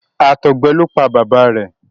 àtọgbẹ ló pá bàbá rẹ.